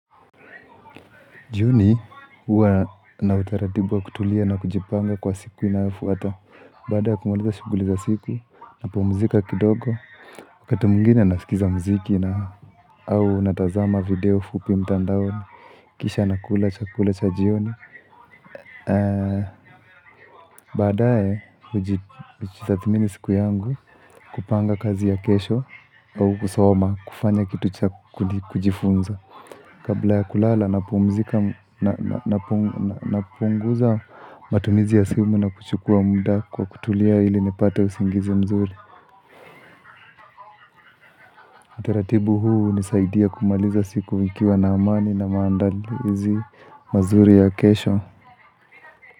Jioni huwa na utaratibu wa kutulia na kujipanga kwa siku inayofuata Bada ya kumaliza shuguli za siku na pumuzika kidogo Wakati mwingine nasikiza mziki na au natazama video fupi mtandaoni Kisha nakula chakula cha jioni Baadae ujitathmini siku yangu kupanga kazi ya kesho au kusoma kufanya kitu cha kujifunza Kabla ya kulala napunguza matumizi ya simu na kuchukua muda kwa kutulia ili nipate usingizi mzuri Utaratibu hunisaidia kumaliza siku nikiwa na amani na maandalizi mazuri ya kesho.